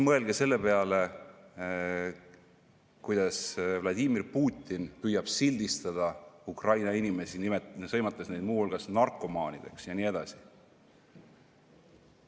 Mõelge selle peale, kuidas Vladimir Putin püüab sildistada Ukraina inimesi, sõimates neid muu hulgas narkomaanideks ja nii edasi.